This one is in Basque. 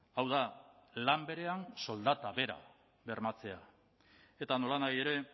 hau da lan berean soldata bera bermatzea eta nolanahi ere